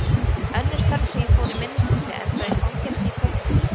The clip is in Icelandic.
Önnur ferð sem ég fór í minnisleysi endaði í fangelsi í Kaupmannahöfn.